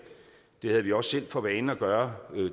det havde vi også selv for vane at gøre